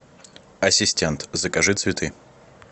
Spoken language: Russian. ассистент закажи цветы